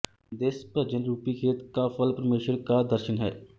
ਤਿਸ ਭਜਨ ਰੂਪੀ ਖੇਤ ਕਾ ਫਲ ਪਰਮੇਸ਼ਰ ਕਾ ਦਰਸ਼ਨ ਹੈ